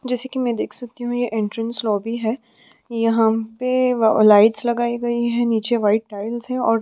जैसे कि मैं देख सकती हूँ यह एंट्रेंस लॉबी है यहाँ पे लाइट्स लगाई गई है नीचे वाइट टाइल्स है और --